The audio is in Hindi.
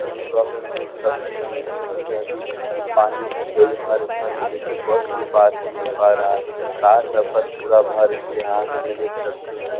तो तो आप लोग देख सकते हैं कितनी ज्यादी पानी भर गई है। हर घर में देखिये बस भी पार हो नहीं हो पा रहा है कार सब का तो पूरा भर गया हैं आप यहाँ देख सकते हैं।